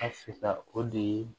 A fisa o de ye